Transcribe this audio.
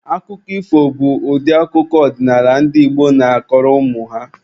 Akụkọ ifo bụ ụdị akụkọ ọdịnaala ndị Igbo na-akọrọ ụmụ ha.